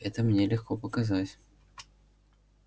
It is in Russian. это мне легко показать